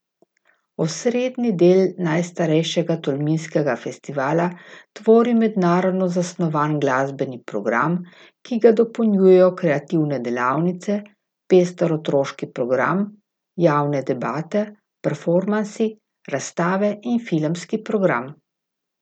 Osrednji del najstarejšega tolminskega festivala tvori mednarodno zasnovan glasbeni program, ki ga dopolnjujejo kreativne delavnice, pester otroški program, javne debate, performansi, razstave in filmski program.